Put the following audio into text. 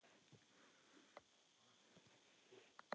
Hvernig getur þú gert það?